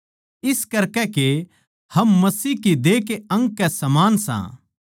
इस करकै के हम मसीह की देह के अंग के समान सां